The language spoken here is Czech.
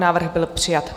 Návrh byl přijat.